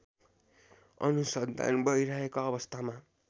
अनुसन्धान भइरहेको अवस्थामा